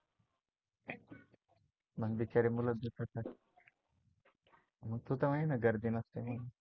पण बिचारे मुलं असतात ना तुला तर माहिती गर्दी नसते म्हणून